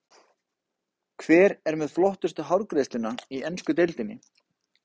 Hver er með flottustu hárgreiðsluna í ensku deildinni?